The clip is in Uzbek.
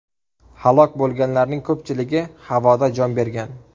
Halok bo‘lganlarning ko‘pchiligi havoda jon bergan.